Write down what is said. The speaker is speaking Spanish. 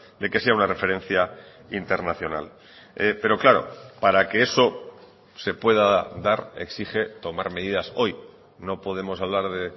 de que sea una referencia internacional pero claro para que eso se pueda dar exige tomar medidas hoy no podemos hablar de